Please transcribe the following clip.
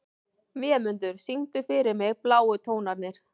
Vémundur, syngdu fyrir mig „Bláu tónarnir“.